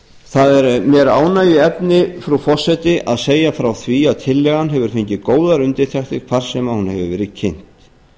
það er mér ánægjuefni frú forseti að segja frá því að tillagan hefur fengið góðar undirtektir hvar sem hún hefur verið kynnt